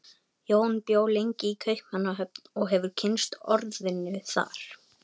Jón bjó lengi í Kaupmannahöfn og hefur kynnst orðinu þar.